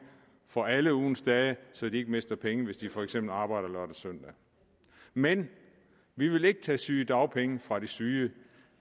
for alle ugens dage så de ikke mister penge hvis de for eksempel arbejder lørdag søndag men vi vil ikke tage sygedagpenge fra de syge